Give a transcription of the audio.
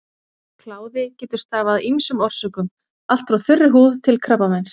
Kláði getur stafað af ýmsum orsökum, allt frá þurri húð til krabbameins.